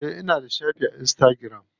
Eh ina da shafi a insitagiram.